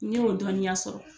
N ɲe o dɔɔniya sɔrɔ.